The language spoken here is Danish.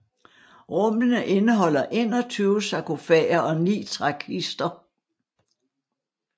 Rummene indeholder 21 sarkofager og ni trækister